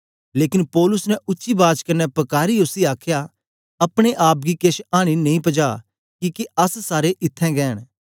लेकन पौलुस ने उच्ची बाज कन्ने पकारीयै उसी आखया अपने आप गी केछ आनी नेई पजा किके अस सारे इत्थैं गै न